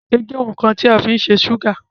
ireke je oun kan ti a fin se súgà